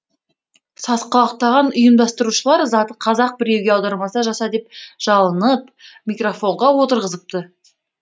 сасқалақтаған ұйымдастырушылар заты қазақ біреуге аударма жаса деп жалынып микрофонға отырғызыпты